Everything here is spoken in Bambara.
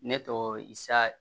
Ne tɔgɔ isa